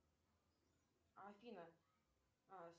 афина